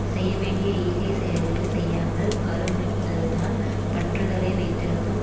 செய்யவேண்டிய ஈகைச் செயல்களை செய்யாமல் கருமித்ததனால் பற்றுதலை வைத்திருக்கும்